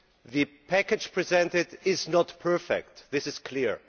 The package presented is not perfect, this is clear.